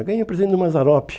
Ganhei um presente do Mazzaropi.